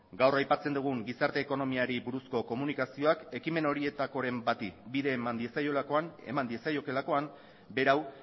gaur aipatzen dugun gizarte ekonomiari buruzko komunikazioak ekimen horietakoren bati bide eman diezaiokeelakoan berau